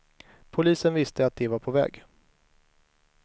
Polisen visste att de var på väg.